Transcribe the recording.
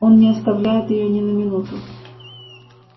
он не оставляет её ни на минуту